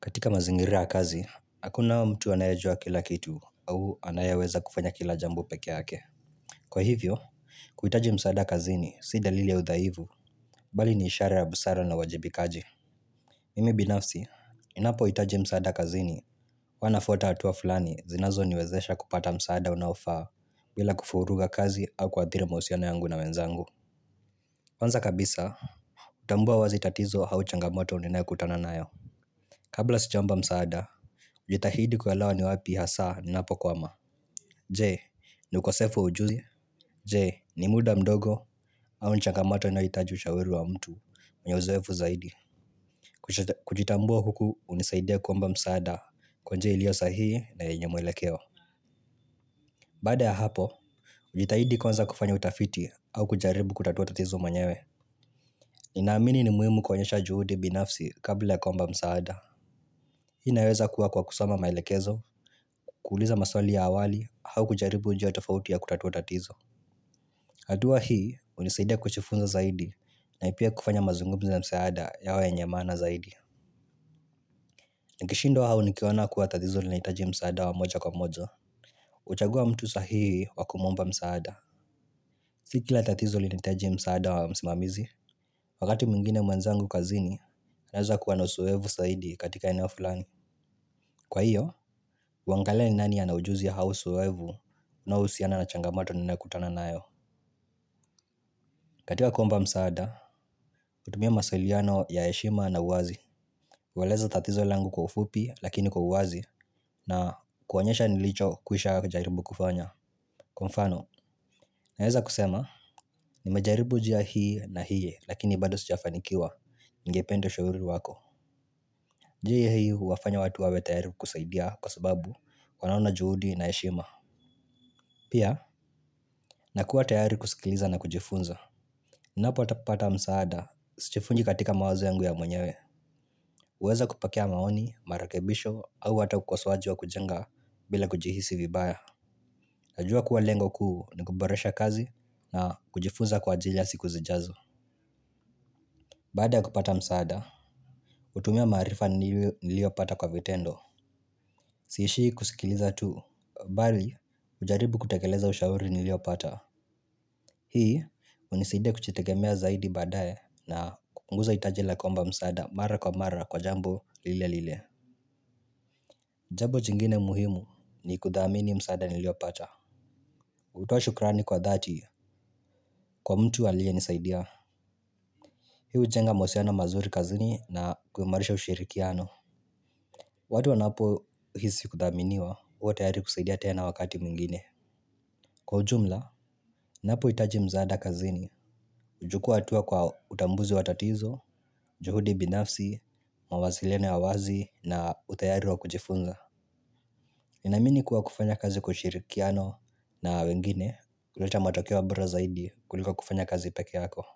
Katika mazingira ya kazi, hakuna mtu anayajua kila kitu au anayeweza kufanya kila jambo peke yake. Kwa hivyo, kuhitaji msaada kazini si dalili ya udhaifu, bali ni ishara ya busara na uwajibikaji. Mimi binafsi, ninapohitaji msaada kazini, huwa nafuata hatua fulani zinazoniwezesha kupata msaada unaofaa bila kuvuruga kazi au kuathiri mahusiano yangu na wenzangu. Kwanza kabisa, hutambua wazi tatizo au changamoto ninayokutana nayo. Kabla sijaomba msaada, hujitahidi kuelewa ni wapi hasa ninapokwama. Jee, ni ukosefu wa ujuzi. Jee, ni muda mdogo au ni changamoto inayohitaji ushauri wa mtu mwenye uzoefu zaidi. Kujitambua huku hunisaidia kuomba msaada kwa njia iliyo sahihi na yenye mwelekeo. Baada ya hapo, hujitahidi kuanza kufanya utafiti au kujaribu kutatua tatizo mwenyewe. Ninaamini ni muhimu kuonyesha juhudi binafsi kabla ya kuomba msaada. Hii inaweza kuwa kwa kusoma maelekezo, kuuliza maswali ya awali, au kujaribu njia tofauti ya kutatua tatizo. Hatua hii, hunisaidia kujifunza zaidi, na pia kufanya mazungumzo na msaada yawa yenye maana zaidi. Nikishindwa au nikiona kuwa tatizo linahitaji msaada wa moja kwa moja. Huchagua mtu sahihi wa kumwomba msaada. Si kila tatizo linahitaji msaada wa msimamizi, wakati mwingine mwenzangu kazini, anaweza kuwa na uzoefu zaidi katika eneo fulani. Kwa hiyo, uangalie ni nani ana ujuzi au uzoefu unaohusiana na changamoto ninayokutana nayo. Katika kuomba msaada, hutumia mawasiliano ya yeshima na uwazi. Kueleza tatizo langu kwa ufupi lakini kwa uwazi na kuonyesha nilicho kwisha jaribu kufanya kwa mfano, naeza kusema, nimejaribu njia hii na hii lakini bado sijafanikiwa ningependa ushauri wako. Njia hii huwafanya watu wawe tayari kukusaidia kwa sababu wanaona juhudi na heshima. Pia, nakuwa tayari kusikiliza na kujifunza. Napo pata msaada, sijivunji katika mawazo yangu ya mwenyewe. Huweza kupokea maoni, marekebisho, au hata ukosowaji wa kujenga bila kujihisi vibaya. Najua kuwa lengo kuu ni kuboresha kazi na kujifunza kwa ajili ya siku zijazo. Baada ya kupata msaada, hutumia maarifa niliyopata kwa vitendo. Siishi kusikiliza tu. Bali, hujaribu kutekeleza ushauri niliyopata. Hii, hunisaidia kujitegemea zaidi baadae na kupunguza hitaji la kuomba msaada mara kwa mara kwa jambo lile lile. Jambo jingine muhimu ni kuthamini msaada niliopata. Hutoa shukrani kwa dhati kwa mtu aliyenisaidia. Hi hujenga mahusiano mazuri kazini na kumarisha ushirikiano. Watu wanapo hisi kuthaminiwa, huwa tayari kusaidia tena wakati mwingine. Kwa ujumla, napohitaji msaada kazini, huchukua hatua kwa utambuzi wa tatizo, juhudi binafsi, mawasiliano ya wazi na utayari wa kujifunza. Ninamini kuwa kufanya kazi kwa ushirikiano na wengine huleta matokeo ya bora zaidi kuliko kufanya kazi peke yako.